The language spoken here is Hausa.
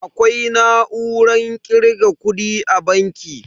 Akwai na'urar kirga kudi a banki.